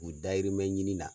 U dayirimɛ ɲini na.